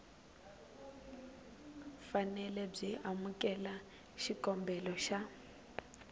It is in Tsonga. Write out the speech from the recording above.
fanele byi amukela xikombelo xa